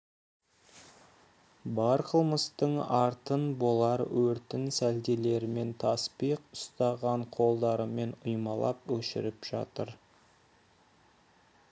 бар қылмыстың артын болар өртін сәлделерімен таспиқ ұстаған қолдарымен ұйпалап өшіріп жатыр